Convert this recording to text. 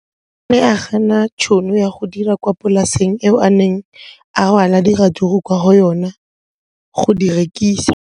O ne a gana tšhono ya go dira kwa polaseng eo a neng rwala diratsuru kwa go yona go di rekisa.